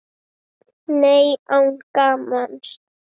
Nei, án gamans.